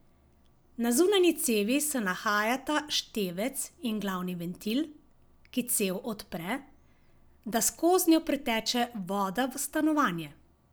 Na zunanji cevi se nahajata števec in glavni ventil, ki cev odpre, da skoznjo priteče voda v stanovanje.